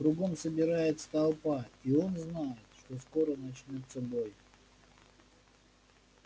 кругом собирается толпа и он знает что скоро начнётся бой